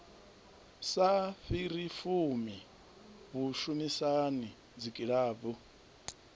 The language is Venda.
sa fhiri fumi vhushumisani dzikilabu